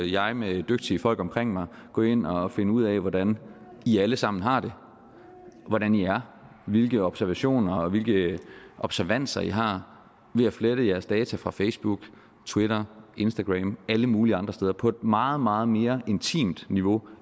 jeg med dygtige folk omkring mig gå ind og finde ud af hvordan i alle sammen har det hvordan i er hvilke observationer og hvilke observanser i har ved at flette jeres data fra facebook twitter instagram alle mulige andre steder på et meget meget mere intimt niveau